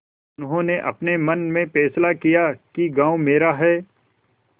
उन्होंने अपने मन में फैसला किया कि गॉँव मेरा है